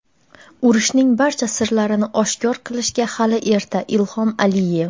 Urushning barcha sirlarini oshkor qilishga hali erta — Ilhom Aliyev.